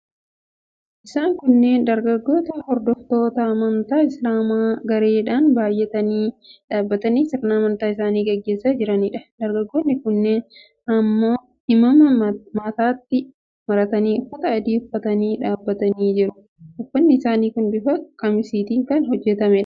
Isaan kunneen dargaggoota, hordoftoota amantaa Isilaamaa gareedhaan baay'atanii dhaabbatanii sirna amantaa isaanii gaggeessaa jiraniidha. Dargaggoonni kunneen himaama mataatti maratanii uffata adii uffatanii dhaabbatanii jiru. Uffatni isaanii kun bifa qamisiitiin kan hojjetamuudha.